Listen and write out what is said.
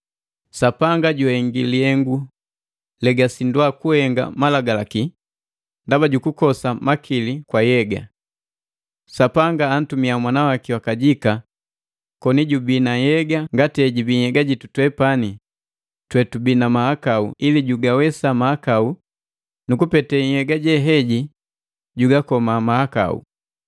Sapanga juhengi lihengu legasindwa kuhenga Malagalaki, ndaba jukukosa makili kwa nhyega. Sapanga antumia Mwana waki wakajika koni jubii na nhyega ngati hejibii nhyega jitu twepani twetubii na mahakau ili jugawesa mahakau nukupete nhyega jeheji jugakoma mahakau.